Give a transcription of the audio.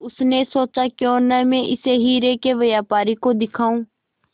उसने सोचा क्यों न मैं इसे हीरे के व्यापारी को दिखाऊं